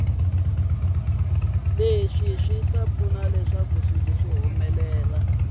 leswi swi ta pfuna ku